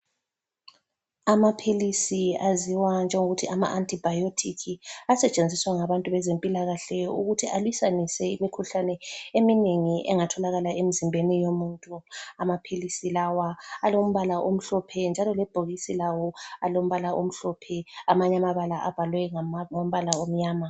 Amaphilisi aziwa njengokuthi amaAntibiotic asetshenziswa ngabantu bezempilakahle ukuthi alwisanise imikhuhlane eminengi engatholakala emzimbeni yomuntu. Amaphilisi lawa alombala omhlophe njalo lebhokisi lawo alombala omhlophe, amanye amabala abhalwe ngombala omnyama.